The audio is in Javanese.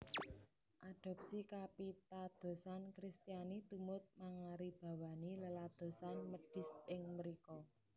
Adopsi kapitadosan Kristiani tumut mangaribawani leladosan médhis ing mrika